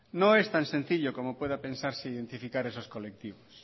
no es tan sencillo como pueda pensar identificar esos colectivos